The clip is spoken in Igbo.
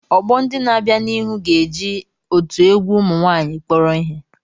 Ọgbọ ndị na-abịa n'ihu ga-eji otu egwu ụmụ nwaanyịkpọrọ ihe.